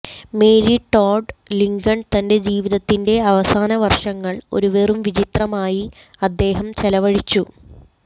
Mary Todd Lincoln തന്റെ ജീവിതത്തിന്റെ അവസാന വർഷങ്ങൾ ഒരു വെറും വിചിത്രമായി അദ്ദേഹം ചെലവഴിച്ചു